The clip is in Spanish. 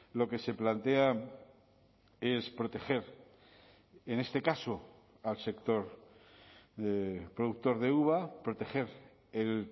lo que se plantea es proteger en este caso al sector productor de uva proteger el